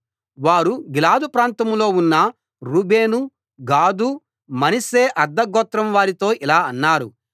వారు గిలాదు ప్రాంతంలో ఉన్న రూబేను గాదు మనష్షే అర్థ గోత్రం వారితో ఇలా అన్నారు